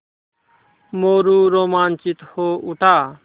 मोरू रोमांचित हो उठा